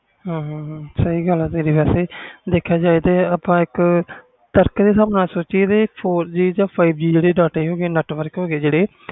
ਹੂ ਹੂ ਸਹੀ ਗੱਲ ਤੇਰੀ ਜੇ ਸੋਚਿਆ ਜਾਵੇ ਇਕ ਤਰਕ ਤੇ ਹਿਸਾਬ ਨਾਲ ਜਿਹੜੇ four G five G data ਹੋ ਗਏ network ਹੋ ਗਏ